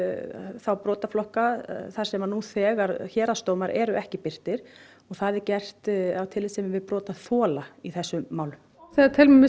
þá brotaflokka þar sem nú þegar héraðsdómar eru ekki birtir það er gert af tillitssemi við brotaþola í þessum málum við teljum